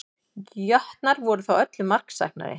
Jötnar voru þó öllu marksæknari